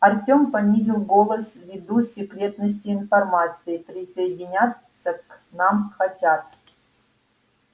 артём понизил голос ввиду секретности информации присоединяться к нам хотят